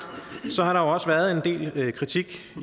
har der jo også været en del kritik